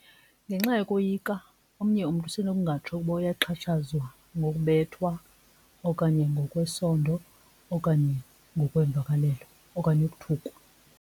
Ngenxa yokoyika omnye umntu usenokungatsho ukuba uyaxhatshazwa ngokubethwa okanye ngokwesondo okanye ngokwemvakalelo okanye ukuthukwa.